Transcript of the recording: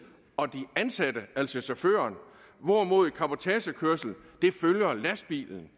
og den ansatte altså chaufføren hvorimod cabotagekørsel følger lastbilen